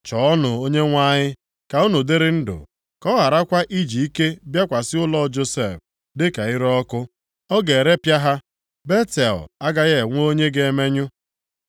Chọọnụ Onyenwe anyị, ka unu dịrị ndụ, ka ọ gharakwa iji ike bịakwasị ụlọ Josef, dịka ire ọkụ, ọ ga-erepịa ha. Betel agaghị enwe onye ga-emenyụ.